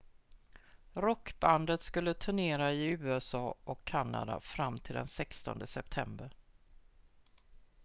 rockbandet skulle turnera i usa och kanada fram till den 16 september